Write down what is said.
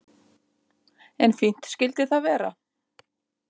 En fínt skyldi það vera!